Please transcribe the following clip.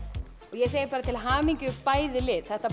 ég segi bara til hamingju bæði lið þetta